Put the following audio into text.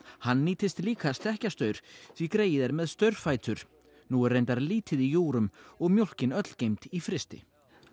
hann nýtist líka Stekkjastaur því greyið er með nú er reyndar lítið í júgrum og mjólkin öll geymd í frysti